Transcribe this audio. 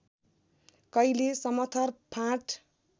कैले समथर फाँट